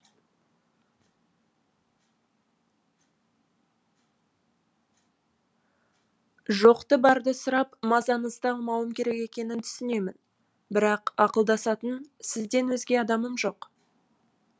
жоқты барды сұрап мазаңызды алмауым керек екенін түсінемін бірақ ақылдасатын сізден өзге адамым жоқ